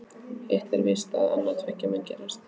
Hitt er víst að annað tveggja mun gerast.